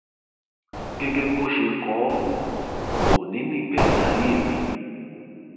gẹgẹ bó ṣe kọ ọ òní nígbẹyìn ayé mi